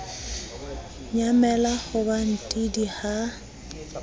nyamela ho ba ntidi ha